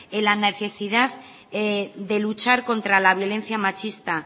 en la necesidad de luchar contra la violencia machista